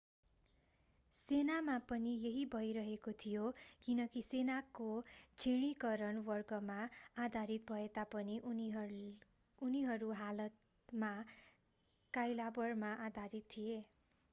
सेनामा पनि यही भइरहेको थियो किनकि सेनाको श्रेणीकरण वर्गमा आधारित भएतापनि उनीहरू हालमा कइलाबरमा आधारितथिए